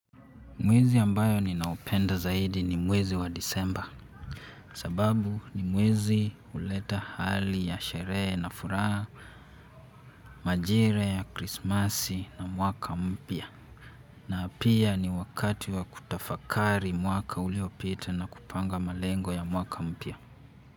Mwezi ambayo ninaupenda zaidi ni mwezi wa disemba. Sababu ni mwezi huleta hali ya sherehe na furaha, majire ya krismasi na mwaka mpya. Na pia ni wakati wa kutafakari mwaka uliopita na kupanga malengo ya mwaka mpya.